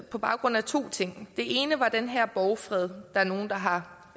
på baggrund af to ting den ene var den her borgfred der er nogle der har